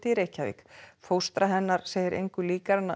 Reykjavík fóstra hennar segir engu líkara en